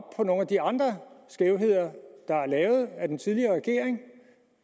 på nogle af de andre skævheder der er lavet af den tidligere regering